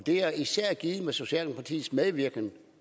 er især givet med socialdemokratiets medvirken